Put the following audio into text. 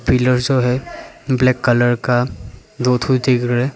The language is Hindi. पिलर सब है ब्लैक कलर का दो ठो दिख रहा है।